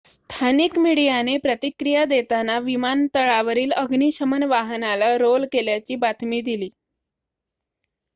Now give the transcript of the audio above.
स्थानिक मीडियाने प्रतिक्रिया देताना विमानतळावरील अग्निशमन वाहनाला रोल केल्याची बातमी दिली